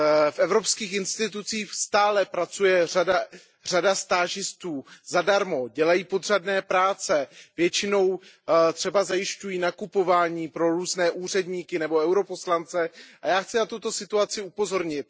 V evropských institucích stále pracuje řada stážistů zadarmo, dělají podřadné práce, většinou třeba zajišťují nakupování pro různé úředníky nebo poslance EP, a já chci na tuto situaci upozornit.